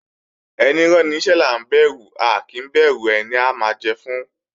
Ẹní ráni níṣẹ́ là ń bẹ̀rù a kì í bẹ̀rù ẹni a máa jẹ fún